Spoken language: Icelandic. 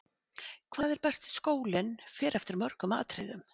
Hvað er besti skólinn fer eftir mörgum atriðum.